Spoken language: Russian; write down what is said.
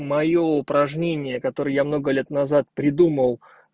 моё упражнение которое я много лет назад придумал